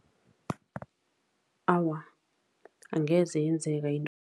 Awa, angeze yenzeka